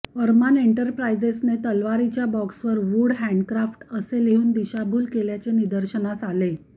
अरमान इन्टरप्राईजेसने तलवारीच्या बॉक्सवर वुड हॅण्डक्राफ्ट असे लिहून दिशाभूल केल्याचे निदर्शनास आले